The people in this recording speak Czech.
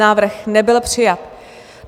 Návrh nebyl přijat.